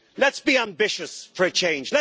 Let's be ambitious for a change.